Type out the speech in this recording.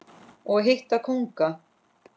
og hitta kónga.